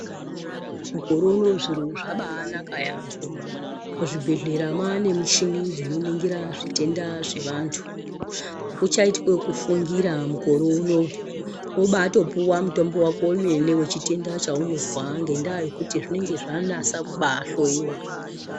Mukore unowu zviro zvabaanaka yambo, muzvibhedhlera mane michini dzinoningira zvitenda zvevantu, akuchayitwi wokufungira mukore unowu, wobatopuwa mutombo wako wemene wechitenda chaunozwa, ngendaa yekuti zvinenge zvanasa kubaahloyiwa.